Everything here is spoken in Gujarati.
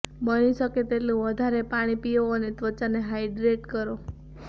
બની શકે તેટલું વધારે પાણી પીઓ અને ત્વચાને હાઈડ્રેટ કરો